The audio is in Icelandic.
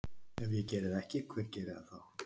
Ef ég geri það ekki, hver gerir það þá?